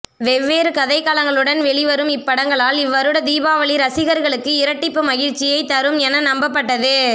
வெவ்வேறு கதைக்களங்களுடன் வெளி வரும் இப்படங்களால் இவ்வருடத் தீபாவளி ரசிகர்களுக்கு இரட்டிப்பு மகிழ்ச்சியை தரும் என நம்பப்பட்டது